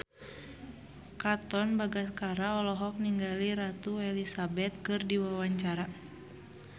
Katon Bagaskara olohok ningali Ratu Elizabeth keur diwawancara